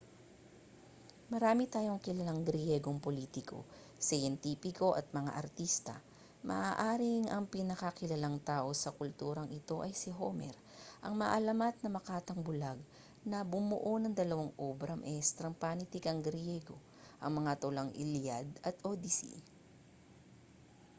marami tayong kilalang griyegong politiko siyentipiko at mga artista maaaring ang pinakakilalang tao sa kulturang ito ay si homer ang maalamat na makatang bulag na bumuo ng dalawang obra maestrang panitikang griyego ang mga tulang iliad at odyssey